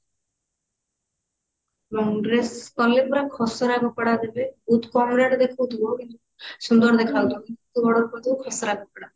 long dress long dress ପୁରା ଖସଡା କପଡା ଦେବେ ବହୁତ କମ rate ଦେଖଉଥିବ କିନ୍ତୁ ସୁନ୍ଦର ଦେଖା ଯାଉଥିବ କିନ୍ତୁ ତୁ order କରି ଦଉଥିବୁ ଖସଡା କପଡା